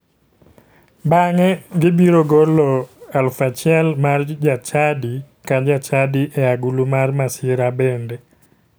Bang'e gibiro golo 1,000 mar jachadi ka jachadi e agulu mar masira bende.